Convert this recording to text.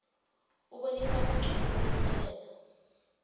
ubonisa buncono kulenselela